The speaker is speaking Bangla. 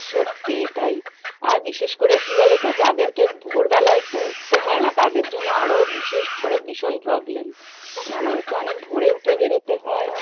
সত্যিই তাই, আর বিশেষ করে কী বলতো যাদের কে ভোর বেলায় একটু উঠতে হয়না তাদের জন্য আরও বিশেষ করে ভীষণ problem, মানে আমাদের তো অনেক ভোরে উঠে বেরোতে হয়।